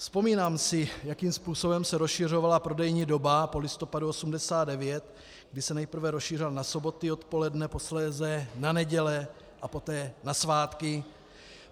Vzpomínám si, jakým způsobem se rozšiřovala prodejní doba po listopadu 1989, kdy se nejprve rozšířila na soboty odpoledne, posléze na neděle a poté na svátky.